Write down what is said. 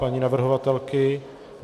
Paní navrhovatelka?